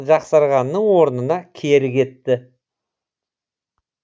жақсарғанның орнына кері кетті